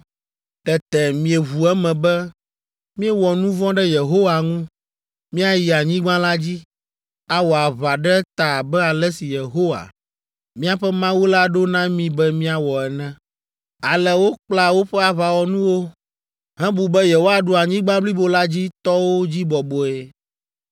Tete mieʋu eme be, “Míewɔ nu vɔ̃ ɖe Yehowa ŋu. Míayi anyigba la dzi, awɔ aʋa ɖe eta abe ale si Yehowa, míaƒe Mawu la ɖo na mí be míawɔ ene.” Ale wokpla woƒe aʋawɔnuwo hebu be yewoaɖu anyigba blibo la dzi tɔwo dzi bɔbɔe.